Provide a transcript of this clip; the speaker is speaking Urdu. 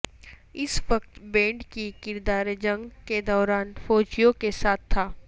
اس وقت بینڈ کی کردار جنگ کے دوران فوجیوں کے ساتھ تھا